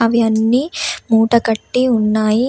అవి అన్ని మూట కట్టి ఉన్నాయి.